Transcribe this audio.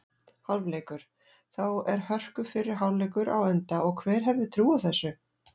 Hálfleikur: Þá er hörku fyrri hálfleikur á enda og hver hefði trúað þessu??